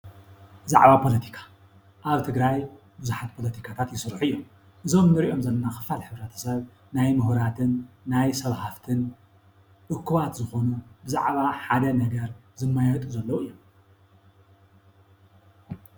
ብዛዕባ ፖለቲካ አብ ትግራይ ብዙሓት ፖለቲካታት ይስርሑ እዮም። እዞም ንሪኦም ዘለና ኽፋል ሕብረተሰብ ናይ ሙሁራትን ናይ ሰብ ሃፍትን እኩባት ዝኾኑ ብዛዕባ ሓደ ነገር ዝማየጡ ዘለው እዮም።